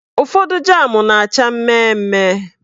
Ụfọdụ jam na-acha mmemme.